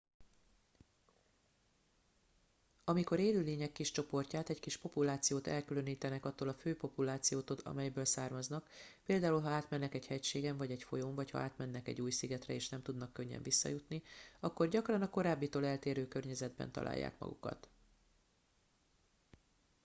amikor élőlények kis csoportját egy kis populációt elkülönítenek attól a fő populációtól amelyből származnak például ha átmennek egy hegységen vagy egy folyón vagy ha átmennek egy új szigetre és nem tudnak könnyen visszajutni akkor gyakran a korábbitól eltérő környezetben találják magukat